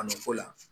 Kanu ko la